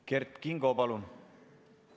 Kert Kingo, palun!